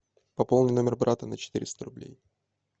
пополни номер брата на четыреста рублей